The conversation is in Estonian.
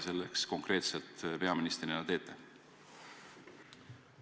Mida konkreetset te peaministrina selleks teete?